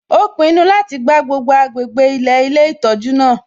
Ó pinnu láti gbá gbogbo agbègbè ilẹ̀ ilé ìtọ́jú náà